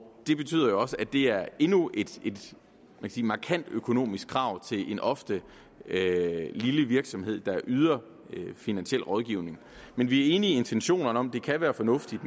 det betyder jo også at det er endnu et et markant økonomisk krav til en ofte lille virksomhed der yder finansiel rådgivning men vi er enige i intentionerne om at det kan være fornuftigt